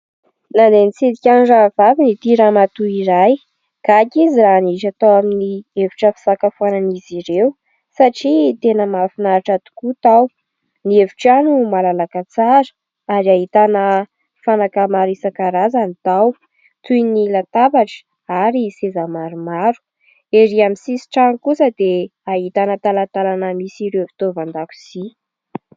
Nandeha nitsidika ny rahavaviny ity ramatoa iray. Gaga izy raha niditra tao amin'ny efitra fisakafoanan'izy ireo satria tena mahafinaritra tokoa tao. Ny efitrano malalaka tsara ary ahitana fanaka maro isan-karazany tao toy ny latabatra ary seza maromaro. Ery amin'ny sisin-trano kosa dia ahitana talantalana misy ireo fitaovan-dakozia.